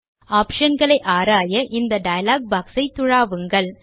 option களை ஆராய இந்த டயலாக் boxயை துழாவுங்கள்